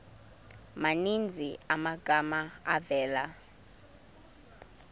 maninzi amagama avela